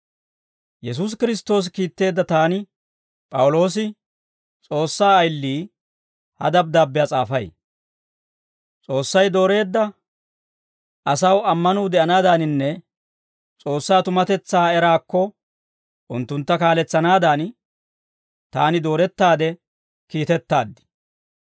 Yesuusi Kiristtoosi kiitteedda taani P'awuloosi, S'oossaa ayili, ha dabddaabbiyaa s'aafay. S'oossay dooreedda asaw ammanuu de'anaadaaninne S'oossaa tumatetsaa eraakko unttuntta kaaletsanaadan taani doorettaade kiitettaad.